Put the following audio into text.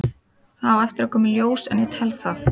Það á eftir að koma í ljós en ég tel það.